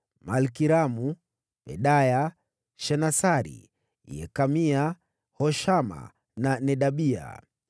Malkiramu, Pedaya, Shenasari, Yekamia, Hoshama na Nedabia.